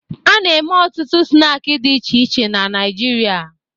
A na-eme ọtụtụ snaakị dị iche iche na Naịjirịa